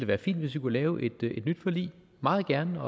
være fint hvis vi kunne lave et nyt forlig meget gerne